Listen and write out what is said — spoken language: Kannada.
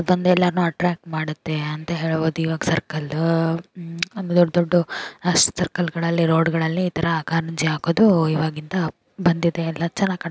ಬಂದೆಲ್ಲಾ ಎಲ್ಲರೂನು ಅಟ್ರಾಕ್ಟ್ ಮಾಡುತ್ತೆ ಅಂತ ಹೇಳಬಹುದು. ಒಂದು ಸರ್ಕಲ್ ಅಂದ್ರೆ ದೊಡ್ಡ ದೊಡ್ಡ ರಸ್ತೆ ಸರ್ಕಲ್ ಗಳಲ್ಲಿ ಇತರ ಕಾರಂಜಿ ಹಾಕುವುದು ಇವಾಗಿಂದ ಬಂದಿದೆ ಎಲ್ಲಾ ಚೆನ್ನಾಗಿ--